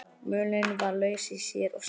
Mölin var laus í sér og seinfarin.